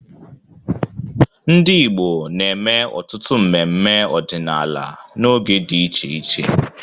Ndị Igbo na-eme ọtụtụ mmemme ọdịnala n'oge dị iche iche.